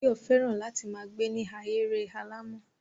Báyọ̀ fẹ́ràn láti ma gbe ni ahéré alàmọ̀.